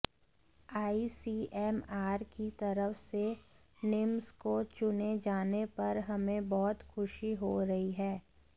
ICMR की तरफ से निम्स को चुने जाने पर हमें बहुत खुशी हो रही है